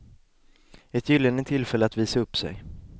Ett gyllene tillfälle att visa upp sig.